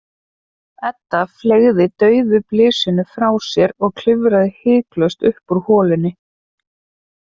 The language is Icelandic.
Edda fleygði dauðu blysinu frá sér og klifraði hiklaust upp úr holunni.